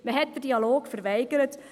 Man hat den Dialog verweigert.